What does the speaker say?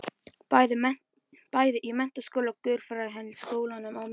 Bæði í menntaskóla og guðfræðideild háskólans á Melunum.